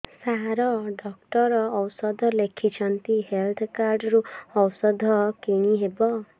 ସାର doctor ଔଷଧ ଲେଖିଛନ୍ତି health card ରୁ ଔଷଧ କିଣି ହେବ